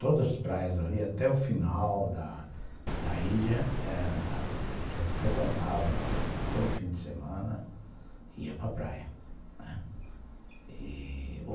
Todas as praias ali, até o final da da ilha, a gente frequentava todo fim de semana, ia para praia.